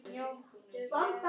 Við erum ekkert að hætta.